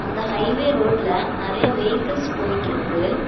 இந்த highway ரோட்டுல நெறைய வெயிகல்ஸ் போயிட்ருக்கு.